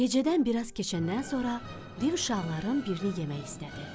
Gecədən biraz keçəndən sonra div uşaqların birini yemək istədi.